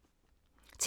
TV 2